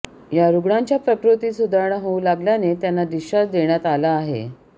या रुग्णाच्या प्रकृतीत सुधारणा होऊ लागल्याने त्यांना डिस्चार्ज देण्यात आला आहे